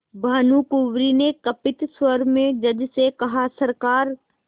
भानुकुँवरि ने कंपित स्वर में जज से कहासरकार